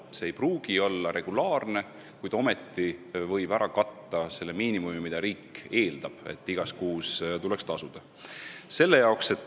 Töötasu ei pruugi olla regulaarne, kuid see võib küündida selle miinimumini, mis riigi nõuete kohaselt igas kuus tuleks tasuda.